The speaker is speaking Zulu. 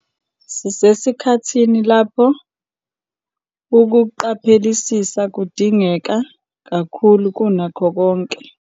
Sisesikhathini lapho ukuqaphelisisa kudingeka kakhulu kunakho konke.